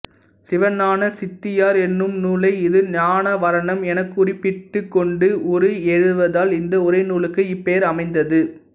சிவஞான சித்தியார் என்னும் நூலை இது ஞானாவரணம் எனக் குறிப்பிட்டுக்கொண்டு உரை எழுதுவதால் இந்த உரைநூலுக்கு இப் பெயர் அமைந்தது